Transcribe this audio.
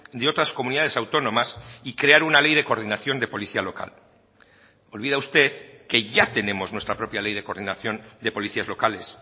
de otras comunidades autónomas y crear una ley de coordinación de policía local olvida usted que ya tenemos nuestra propia ley de coordinación de policías locales